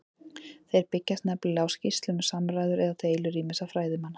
Þeir byggjast nefnilega á skýrslum um samræður eða deilur ýmissa fræðimanna.